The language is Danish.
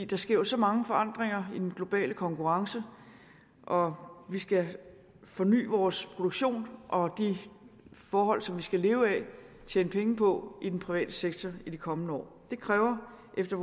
der sker så mange forandringer i den globale konkurrence og vi skal forny vores produktion og de forhold som vi skal leve af tjene penge på i den private sektor i de kommende år det kræver efter